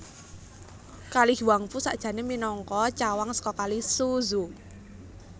Kali Huangpu sakjané minangka cawang saka Kali Suzhou